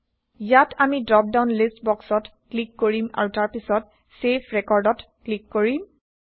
ইয়াত আমি drop down list বক্সত ক্লিক কৰিম আৰু তাৰ পাছত চেভ record ত ক্লিক কৰিম